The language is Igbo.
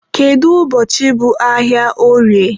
kedu ụbọchị bụ ahịa orie?